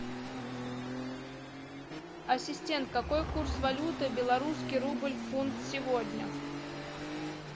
ассистент какой курс валюты белорусский рубль в фунт сегодня